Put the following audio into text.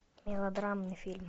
мелодрамный фильм